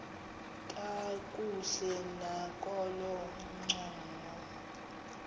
kakuhle nakolo ncumo